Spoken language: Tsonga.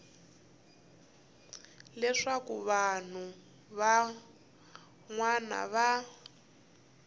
leswaku vanhu van wana va